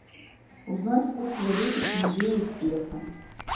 узнать курс валюты тенге и песо